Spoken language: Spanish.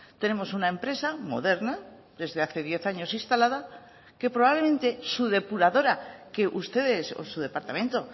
tenemos una empresa moderna desde hace diez años instalada que probablemente su depuradora que ustedes o su departamento